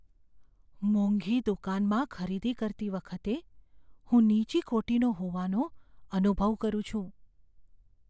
મોંઘી દુકાનમાં ખરીદી કરતી વખતે હું નીચી કોટીનો હોવાનો અનુભવ કરું છું.